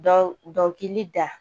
Dɔ dɔkili da